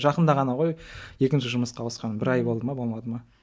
жақында ғана ғой екінші жұмысқа ауысқаным бір ай болды ма болмады ма